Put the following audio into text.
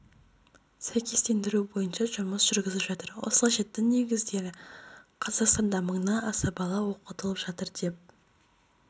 сәйкестендіру бойынша жұмыс жүргізіп жатыр осылайша дін негіздеріне қазақстанда мыңнан аса бала оқытылып жатыр деп